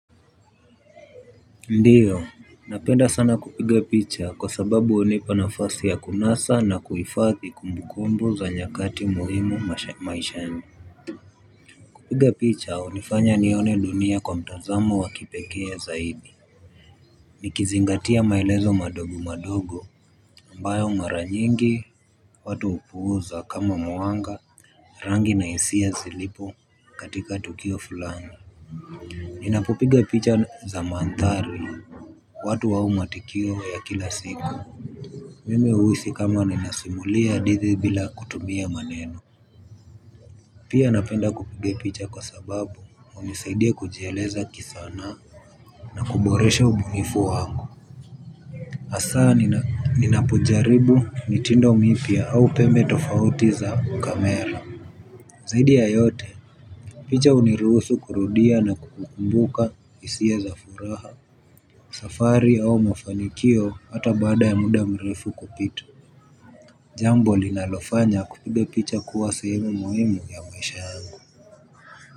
Ndiyo, napenda sana kupiga picha kwa sababu unipa nafasi ya kunasa na kuifadhi kumbukumbu za nyakati muhimu maishani. Kupiga picha unifanya nione dunia kwa mtazamo wa kipeke zaidi. Nikizingatia maelezo madogo madogo ambayo maranyengi watu upuuza kama mwanga rangi na isia zilipo katika tukio fulani. Ninapopiga picha za maandhari watu au matukio ya kila siku mimi uhisi kama ninasimulia hadidhi bila kutumia maneno. Pia napenda kupiga picha kwa sababu unisaidia kujieleza kisanaa na kuboresha ubunifu wangu. Asaa ninapojaribu mitindo mipya au pembe tofauti za kamela zaidi ya yote picha uniruhusu kurudia na kukumbuka isia za furaha. Safari au mfanikio hata baada ya muda mrefu kupita jambo linalofanya kupiga picha kuwa sehemu muhimu ya maisha yangu.